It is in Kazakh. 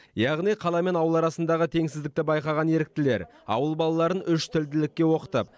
яғни қала мен ауыл арасындағы теңсіздікті байқаған еріктілер ауыл балаларын үш тілділікке оқытып